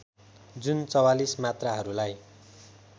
जुन ४४ मात्राहरूलाई